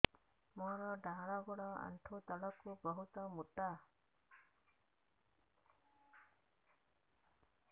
ମୋର ଡାହାଣ ଗୋଡ ଆଣ୍ଠୁ ତଳୁକୁ ବହୁତ ମୋଟା